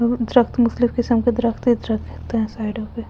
दरख्त मुकतलिब किसम के दरख्त है दरख्त होते है साइडो पे--